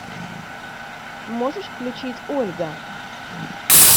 можешь включить ольга